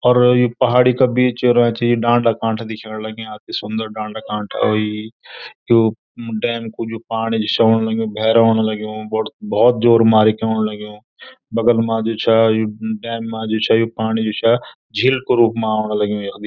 और यूं पहाड़ी का बीच रचीं डांडा कांठा दिख्येंण लग्याँ अति सुन्दर डांडा कांठा अयीं यू म डैम कु जू पाणी छ औण लग्युं भैर औण लग्युं बडू भौत जोर मारिके औण लग्युं बगल मा जू छ यु डैम मा जू छ यु पाणी जू छ झील कु रूप मा औण लग्युं यख भी।